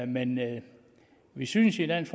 men vi synes i dansk